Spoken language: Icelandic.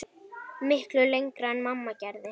Miklu lengra en mamma gerði.